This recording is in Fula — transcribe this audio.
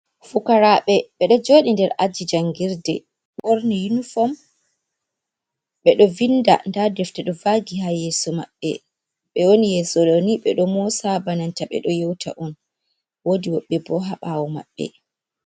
Fukaraɓe ɓe ɗo joɗi nder aji jangirde ɓorni yunifom, ɓe ɗo vinda nda defte ɗo vagi ha yeeso maɓɓe, ɓe woni yeso ɗoni ɓe ɗo mosa bananta ɓe do yewta on, wodi woɓɓe bo haɓawo maɓɓe.